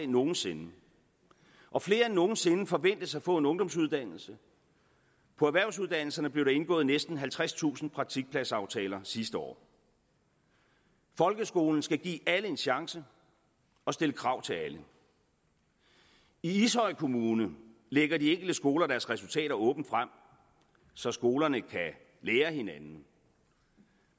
nogen sinde og flere end nogen sinde forventes at få en ungdomsuddannelse på erhvervsuddannelserne blev der indgået næsten halvtredstusind praktikpladsaftaler sidste år folkeskolen skal give alle en chance og stille krav til alle i ishøj kommune lægger de enkelte skoler deres resultater åbent frem så skolerne kan lære af hinanden